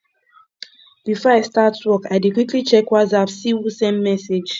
before i start work i dey quickly check whatsapp see who send message